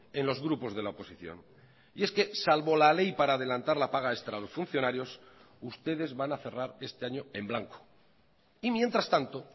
en los grupos de la oposición y es que salvo la ley para adelantar la paga extra a los funcionarios ustedes van a cerrar este año en blanco y mientras tanto